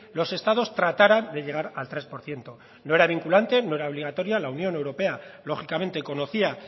los estados trataran de llegar al tres por ciento no era vinculante no era obligatoria la unión europea lógicamente conocía